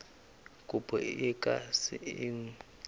kopo e ka se elwe